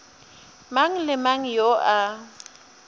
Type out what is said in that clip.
mang le mang yo a